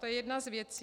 To je jedna z věcí.